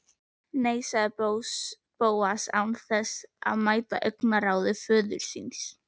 Nei sagði Bóas án þess að mæta augnaráði föður síns.